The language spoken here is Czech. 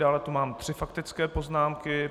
Dále tu mám tři faktické poznámky.